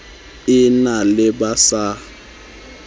e na le ba sa